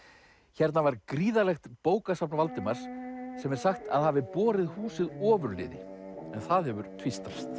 hérna var gríðarlegt bókasafn Valdimars sem er sagt að hafi borið húsið ofurliði en það hefur tvístrast